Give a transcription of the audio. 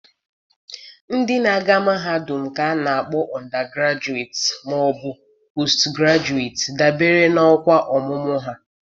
ndị na-aga mahadum ka a na-akpọ undergraduates ma ọ bụ postgraduate, dabere n'ọkwa ọmụmụ ha.